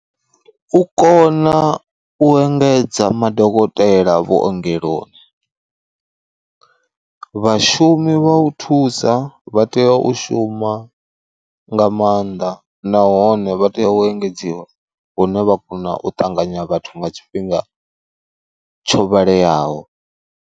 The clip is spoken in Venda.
U kona u engedza madokotela vhuongeloni. Vhashumi vho u thusa vha tea u shuma nga maanḓa nahone vha tea u engedziwa hune vha kona u ṱanganya vhathu nga tshifhinga tsho vhaleyaho.